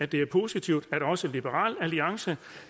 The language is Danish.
det er positivt at også liberal alliance